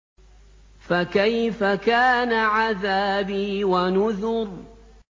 فَكَيْفَ كَانَ عَذَابِي وَنُذُرِ